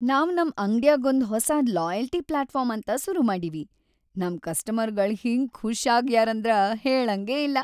ನಾವ್‌ ನಮ್‌ ಅಂಗ್ಡ್ಯಾಗೊಂದ್‌ ಹೊಸಾದ್‌ ಲಾಯಲ್ಟಿ ಪ್ಲಾಟ್ಫಾರ್ಮ್‌ ಅಂತ ಸುರು ಮಾಡೀವಿ, ನಮ್‌ ಕಸ್ಟಮರ್ಗಳ್‌ ಹಿಂಗ್‌ ಖುಷ್‌ ಆಗ್ಯಾರಂದ್ರ ಹೇಳಂಗೇ ಇಲ್ಲ.